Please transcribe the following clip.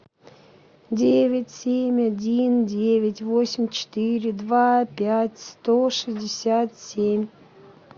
девять семь один девять восемь четыре два пять сто шестьдесят семь